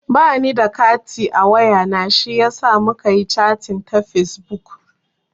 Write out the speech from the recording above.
Ba ni da kati a wayana shiyasa muka yi chating ta fesbuk.